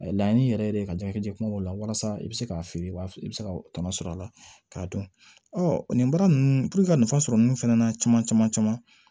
Laɲini yɛrɛ yɛrɛ de ye ka jajɛ kumaw la walasa i bɛ se k'a feere i b'a i bɛ se ka tɔnɔ sɔrɔ a la k'a dɔn nin baara ninnu puruke ka nafa sɔrɔ ninnu fɛnɛ na caman caman caman